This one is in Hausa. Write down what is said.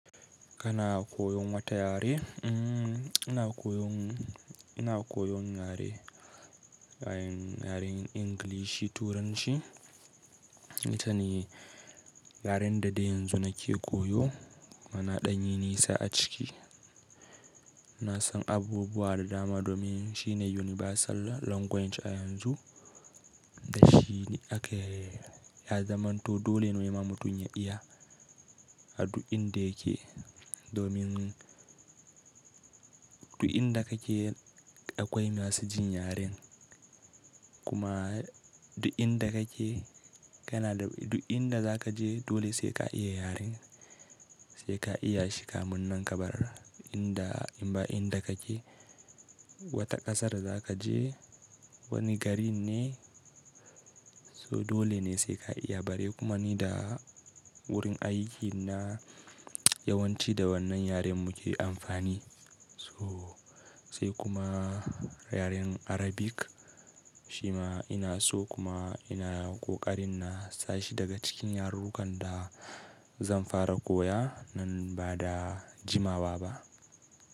Kana koyon wata yare? Mm, ina koyon, ina koyon yare, yaren Ingilishi Turanci. Ita ne yaren da dai yanzu nake koyo mana ɗanyi nisa a ciki. Na san abubuwa da dama domin shine universal language a yanzu da shi ne ake, ya zamanto dole ne mutum ya iya. A duk inda yake domin duk inda kake akwai masu jin yaren. Kuma duk inda kake, kana duk inda za ka je dole sai ka iya yaren. Sai ka iya shi ka munnan kabara inda, inda kake. Wata ƙasar da za ka je wani gari ne. So dole ne sai ka iya bari. Kuma ni da wurin aiyukina yawanci da wannan yaren muke amfani. So sai kuma yaren Arabic shi ma ina so kuma ina ƙoƙarin na sashi daga cikin yarukan da zan fara koya nan ba da jimawa ba.